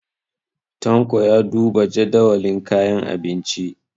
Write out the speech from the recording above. Tanko ya duba jadawalin kayan abinci.